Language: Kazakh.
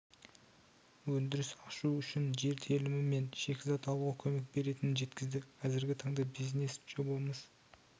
өндіріс ашу үшін жер телімі мен шикізат алуға көмек беретінін жеткізді қазіргі таңда бизнес жобамыз